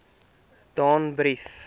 danbrief